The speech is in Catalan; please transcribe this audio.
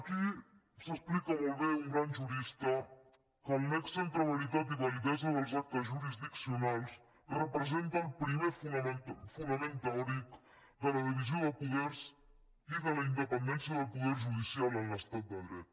aquí explica molt bé un gran jurista que el nexe entre veritat i validesa dels actes jurisdiccionals representa el primer fonament teòric de la divisió de poders i de la independència del poder judicial en l’estat de dret